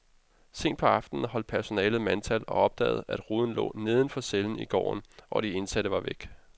Sent på aftenen holdt personalet mandtal og opdagede, at ruden lå neden for cellen i gården, og de indsatte var væk.